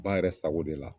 Ba yɛrɛ sago de la